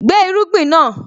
Gbé irúgbìn náà!